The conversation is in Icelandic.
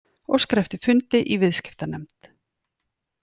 Óskar eftir fundi í viðskiptanefnd